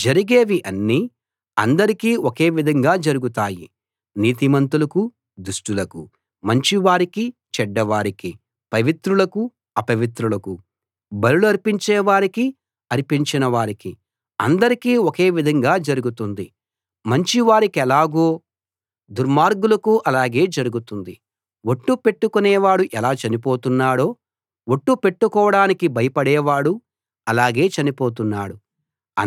జరిగేవి అన్నీ అందరికీ ఒకే విధంగా జరుగుతాయి నీతిమంతులకు దుష్టులకు మంచివారికి చెడ్డవారికి పవిత్రులకు అపవిత్రులకు బలులర్పించే వారికి అర్పించని వారికి అందరికీ ఒకే విధంగా జరుగుతుంది మంచివారికెలాగో దుర్మార్గులకూ అలాగే జరుగుతుంది ఒట్టు పెట్టుకొనేవాడు ఎలా చనిపోతున్నాడో ఒట్టు పెట్టుకోడానికి భయపడేవాడూ అలాగే చనిపోతున్నాడు